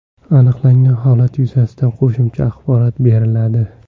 Aniqlangan holat yuzasidan qo‘shimcha axborot beriladi.